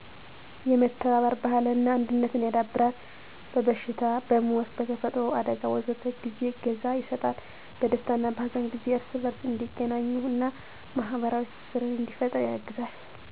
1. የመተባበር ባህልን እና አንድነትን ያዳብራል። 2. በበሽታ፣ በሞት፣ በተፈጥሮ አደጋ... ወዘተ ጊዜ እገዛ ይሰጣል። 3. በደስታ እና በሀዘን ጊዜ እርስ በርስ እንዲገናኙ እና ማህበራዊ ትስስርን እንዲፈጥሩ ያግዛል።